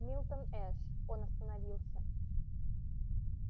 милтон эш он остановился